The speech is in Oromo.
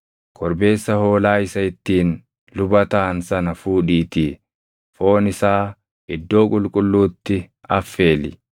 “Korbeessa hoolaa isa ittiin luba taʼan sana fuudhiitii foon isaa Iddoo Qulqulluutti affeeli.